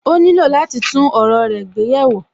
Ó nílò láti tún ọ̀rọ̀ rẹ gbé yẹ̀ wò